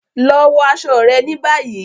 Lọ wọ aṣọ rẹ ní bayi!